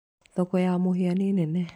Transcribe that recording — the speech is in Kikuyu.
Thoko ya Mũhĩa nĩ nene.